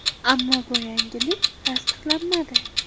Ammo bu yangilik tasdiqlanmadi.